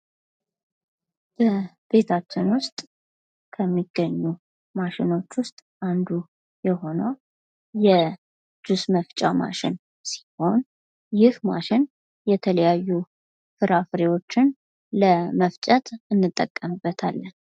በቤታችን ዉስጥ ከሚገኙ ማሽኖች ዉስጥ አንዱ የሆነው የጁስ መፍጫ ማሽን ሲሆን ይህ ማሽን የተለያዩ ፍራፍሬዎችን ለመፍጨት እንጠቀምበታለን።